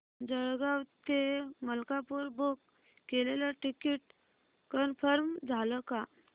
जळगाव ते मलकापुर बुक केलेलं ticket confirm झालं का